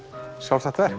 sjálfstætt verk